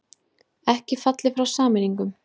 Ekki fallið frá sameiningum